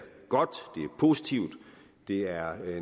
positivt det er